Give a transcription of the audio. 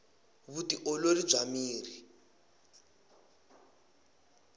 vu ti olori bya miri